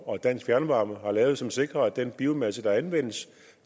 og dansk fjernvarme har lavet som sikrer at den biomasse der anvendes